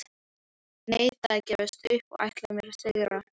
Ég neita að gefast upp og ætla mér að sigra.